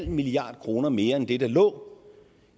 milliard kroner mere end det der lå